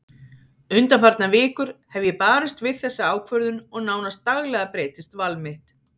Undanfarnar vikur hef ég barist við þessa ákvörðun og nánast daglega breytist val mitt.